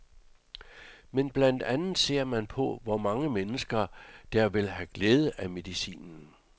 Men blandt andet ser man på, hvor mange mennesker, der vil have glæde af medicinen.